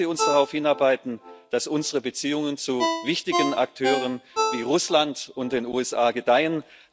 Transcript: Lassen Sie uns darauf hinarbeiten, dass unsere Beziehungen zu wichtigen Akteuren wie Russland und den USA gedeihen.